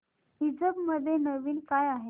ईबझ मध्ये नवीन काय आहे